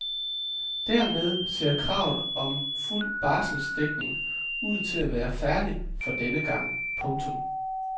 Dermed ser kravet om fuld barselsdækning ud til at være færdigt for denne gang. punktum